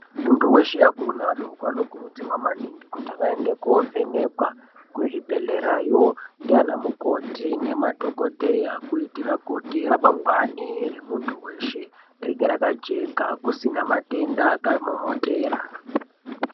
Muntu weshe akuru neadoko anokurudzirwa maningi kuti vaende koovhenekwa kuzvibhedhlerayo ndiana mukoti nemadhogodheya. Kuitira kuti ramangwani remuntu weshe ringe rakajeka kusina matenda akavamomotera.